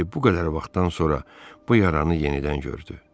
İndi bu qədər vaxtdan sonra bu yaranı yenidən gördü.